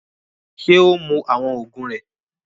Ṣe o ń mú awọn oògùn rẹ?